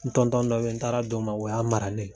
N dɔ be yen , n taara d'o ma o ya mara ne ye.